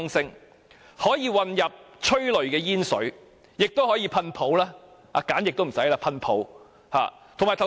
除可混入催淚煙水，亦可以噴泡沫，連皂液也可省掉。